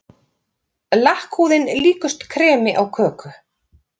Lakkhúðin líkust kremi á köku.